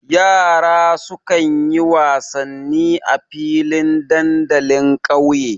Yara sukan yi wasanni a filin dandalin ƙauye.